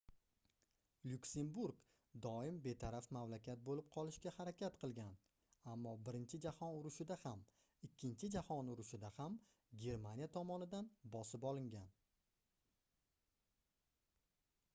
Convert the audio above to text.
lyuksemburg doim betaraf mamlakat boʻlib qolishga harakat qilgan ammo birinchi jahon urushida ham ikkinchi jahon urushida ham germaniya tomonidan bosib olingan